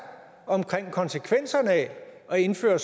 omkring konsekvenserne af at indføre